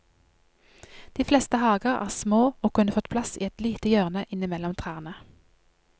De fleste hager er små og kunne fått plass i et lite hjørne innimellom trærne.